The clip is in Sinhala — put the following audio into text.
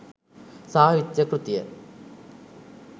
සාහිත්‍ය කෘතිය